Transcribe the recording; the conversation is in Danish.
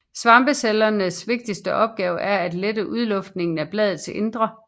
Svampecellernes vigtigste opgave er at lette udluftningen af bladets indre